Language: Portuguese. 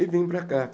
E vim para cá.